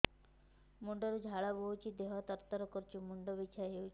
ମୁଣ୍ଡ ରୁ ଝାଳ ବହୁଛି ଦେହ ତର ତର କରୁଛି ମୁଣ୍ଡ ବିଞ୍ଛାଇ ହଉଛି